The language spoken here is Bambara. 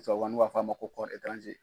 n'u b'a f'a ma ko